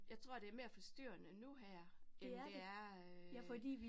Jeg tror det mere forstyrrende nu her end det er øh